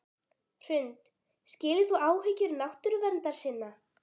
Hrund: Skilur þú áhyggjur náttúruverndarsinna?